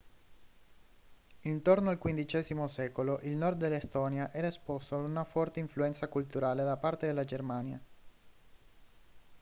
intorno al xv secolo il nord dell'estonia era esposto a una forte influenza culturale da parte della germania